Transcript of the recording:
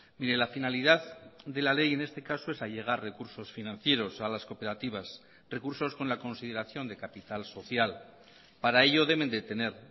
mire la finalidad de la ley en este caso es allegar recursos financieros a las cooperativas recursos con la consideración de capital social para ello deben de tener